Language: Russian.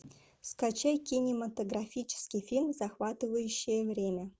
скачай кинематографический фильм захватывающее время